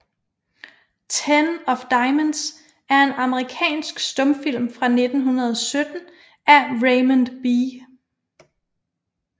Ten of Diamonds er en amerikansk stumfilm fra 1917 af Raymond B